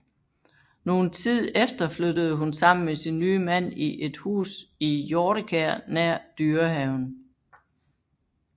Nogen tid efter flyttede hun sammen med sin nye mand i et hus i Hjortekær nær Dyrehaven